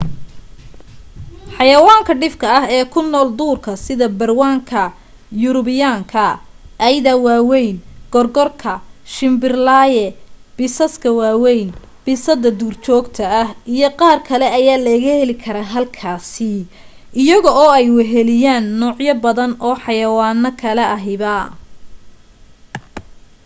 xaywaanka dhifka ah ee ku nool duurka sida barawnka yurubiyaanka eyda waweyn gorgorka shimbirlaaye bisaaska waweyn bisada duurjogta ah iyo qaarkale ayaa laga heli karaa halkaasi iyaga oo ay weheliyaan noocyo badan oo xayawaano kale ahiba